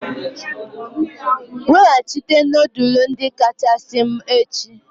Weghachite nudulu ndi kachasị m echi!